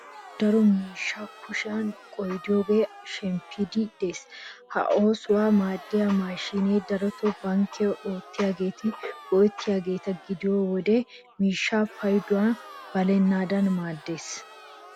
Ha"i ha"i daro asay miishshaa kushiyan qoodiyogaappe shemppiiddi de'ees. Ha oosuwassi maaddiya maashiiniya darotoo bankkiya oottiyageeti go"ettiyageeta gidiyo wode miishshaa payduwa balennaadan maaddees.